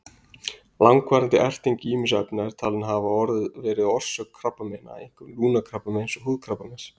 Langvarandi erting ýmissa efna er talin geta verið orsök krabbameina, einkum lungnakrabbameins og húðkrabbameins.